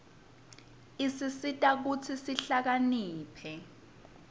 isisita kutsi sihlakaniphe